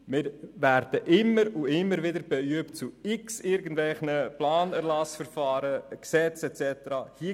Wir werden immer und immer wieder «beübt», zu irgendwelchen Planungserlassverfahren, Gesetzen usw. Stellung zu nehmen.